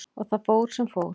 Og það fór sem fór.